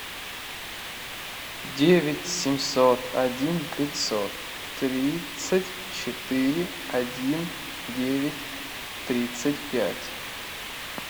девять семьсот один пятьсот тридцать четыре один девять тридцать пять